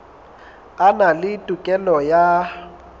a na le tokelo ya